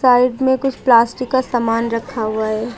Side में कुछ plastic का समान रखा हुआ है।